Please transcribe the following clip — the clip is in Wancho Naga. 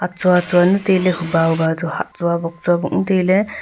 tsua tsua nu ley tai ley huba huba toh hah tsua bok tsua bok nu ley tai ley.